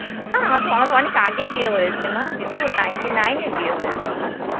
হ্যাঁ, আমা~ আমাদের অনেক আগে বিয়ে হয়েছে না টিঙ্কু ninty nine এ বিয়ে হয়েছে আমার.